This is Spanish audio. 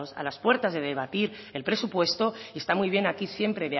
a las puertas de debatir el presupuesto y está muy bien aquí siempre